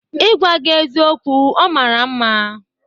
Igwa gị eziokwu, ọ mara mma.